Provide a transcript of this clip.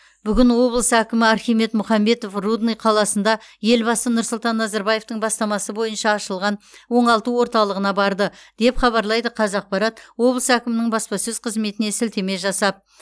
бүгін облыс әкімі архимед мұхамбетов рудный қаласында елбасы нұрсұлтан назарбаевтың бастамасы бойынша ашылған оңалту орталығына барды деп хабарлайды қазақпарат облыс әкімінің баспасөз қызметіне сілтеме жасап